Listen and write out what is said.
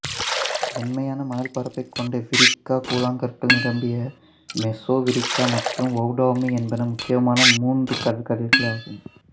வெண்மையான மணல் பரப்பைக் கொண்ட விரிக்கா கூழாங்கற்கள் நிரம்பிய மெசோவிரிக்கா மற்றும் வௌடௌமி என்பன முக்கியமான மூன்று கடற்கரைகளாகும்